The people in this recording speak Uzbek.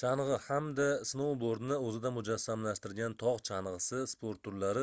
changʻi hamda snoubordni oʻzida mujassamlashtirgan togʻ changʻisi sport turlari